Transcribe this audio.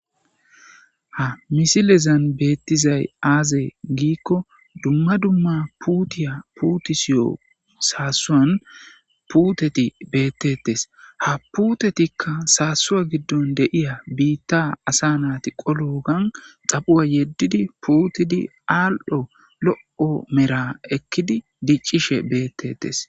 Ha misilezan beettizay aaze giikko dumma dumma puutiya puutisiyo saasuwan puuteti beettetes ha puutetikka saasuwa giddon deiya biitta asa naati qolu gan xaphuwa yeddidi puutidi aal7o lo7o mera ekkidi diccishe beettettes.